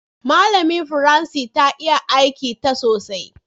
Malamin firanci ta iya aikin ta sosai.